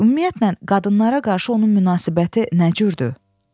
Ümumiyyətlə, qadınlara qarşı onun münasibəti nə cürdür?